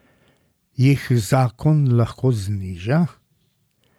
Jih zakon lahko zniža?